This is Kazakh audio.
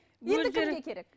енді кімге керек